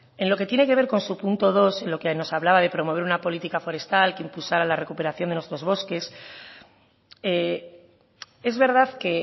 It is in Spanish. en lo que tiene que ver con su punto dos en lo que nos hablaba de promover una política forestal que impulsara la recuperación de nuestros bosques es verdad que